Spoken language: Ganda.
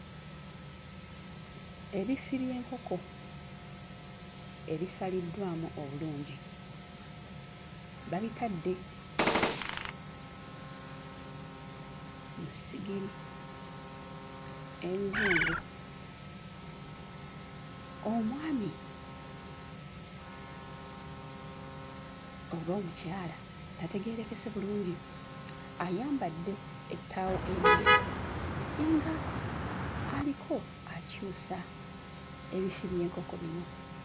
Ebifi by'enkoko ebisaliddwamu obulungi babitadde mu ssigiri enzungu, omwami oba omukyala tategeerekese bulungi ayambadde ettaawo eryeru nga aliko akyusa ebifi by'enkoko bino.